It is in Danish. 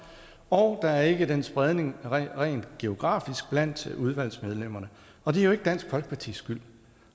og der er ikke en spredning rent geografisk blandt udvalgsmedlemmerne og det er jo ikke dansk folkepartis skyld